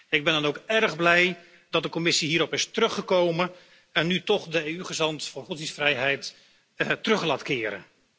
Ik ben dan ook erg blij dat de Commissie hierop is teruggekomen en nu toch de EU gezant voor godsdienstvrijheid terug laat keren.